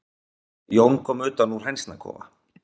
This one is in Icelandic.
Jón kom utan úr hænsnakofa.